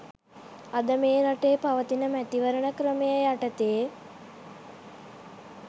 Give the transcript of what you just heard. අද මේ රටේ පවතින මැතිවරණ ක්‍රමය යටතේ